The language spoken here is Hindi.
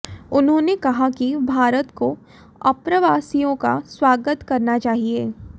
उन्होंने कहा कि भारत को अप्रवासियों का स्वागत करना चाहिए